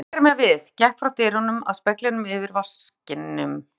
Ég sneri mér við, gekk frá dyrunum að speglinum yfir vaskinum.